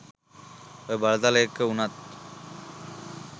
ඔය බලතල එක්ක වුණත්